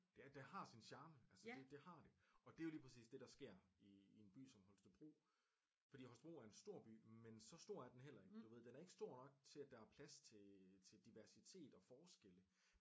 Det har sin charme altså det har det og det er jo lige præcis det der sker i en by som Holstebro fordi Holstebro er en stor by men så stor er den heller ikke du ved den er ikke stor nok til at der plads til øh diversitet og forskelle